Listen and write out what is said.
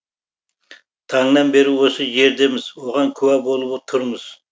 таңнан бері осы жердеміз оған куә болып тұрмыз